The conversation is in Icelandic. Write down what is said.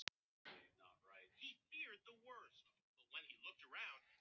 En rammgert steinhús stóð enn autt.